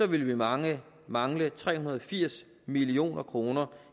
vil vi mangle mangle tre hundrede og firs million kroner